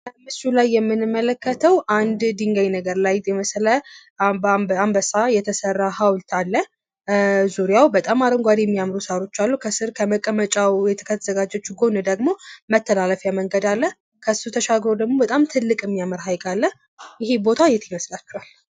ከምስሉ ላይ የምንመለከተው አንድ ድንጋይ ነገር ላይ የመሰለ አንበሳ የተሰራ ሀውልት አለ። ዙሪያው በጣም አረንጓዴ የሚያምሩ ሳሮች ከስር ከመቀመጫ ከተዘጋጀች ጎን ደግሞ መተላለፊያ መንገድ አለ። ከሱ ተሻግረው ደግሞ በጣም ትልቅ ሀይቅ አለ። ይህ ቦታ የት ይመስላችኋል?